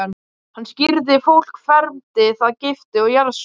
Hann skírði fólk, fermdi það, gifti og jarðsöng.